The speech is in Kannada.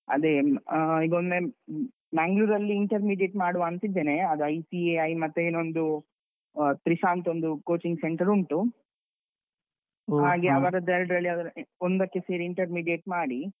ಅದೆ ಇನ್ ಆಹ್ ಈಗ ಒಮ್ಮೆ Mangalore ಅಲ್ಲಿ intermediate ಮಾಡುವಾಂತ ಇದ್ದೇನೆ. ಆಗ ICAI ಮತ್ತೆ ಇನ್ನೊಂದು ಆಹ್ Trisha ಅಂತ ಒಂದು coaching center ಉಂಟು ಹಾಗೆ ಅವರದ್ದು ಎರಡ್ರಲ್ಲಿ ಯಾವುದಾದ್ರು ಒಂದಕ್ಕೆ ಸೇರಿ intermediate ಮಾಡಿ,